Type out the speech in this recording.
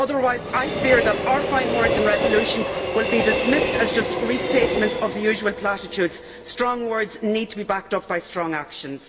Otherwise I fear that our fine words and resolutions will be dismissed as just restatements of the usual platitudes. Strong words need to be backed up by strong actions.